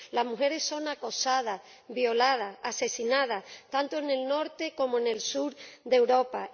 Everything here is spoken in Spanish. Las mujeres son acosadas, violadas, asesinadas, tanto en el norte como en el sur de Europa.